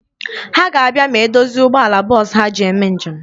Ha ga-abịa ma e dozie ụgbọala bọọsụ ha ji eme njem.